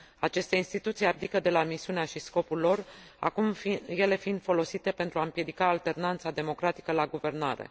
Aceste instituții abdică de la misiunea și scopul lor, acum ele fiind folosite pentru a împiedica alternanța democratică la guvernare.